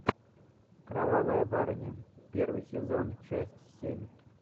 кровавая барыня первый сезон часть семь